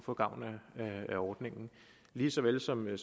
få gavn af ordningen lige så vel som af